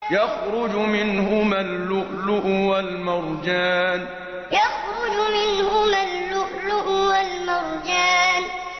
يَخْرُجُ مِنْهُمَا اللُّؤْلُؤُ وَالْمَرْجَانُ يَخْرُجُ مِنْهُمَا اللُّؤْلُؤُ وَالْمَرْجَانُ